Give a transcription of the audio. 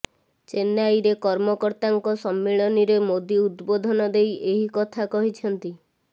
ଚେନ୍ନାଇରେ କର୍ମକର୍ତ୍ତାଙ୍କ ସମ୍ମିଳନୀରେ ମୋଦି ଉଦବୋଧନ ଦେଇ ଏହି କଥା କହିଛନ୍ତି